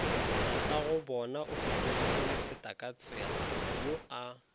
tatagobonao fetogilemofeta katsela yo a